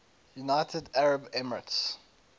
united arab emirates